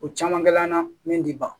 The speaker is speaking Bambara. O caman kɛl'an na min ti ban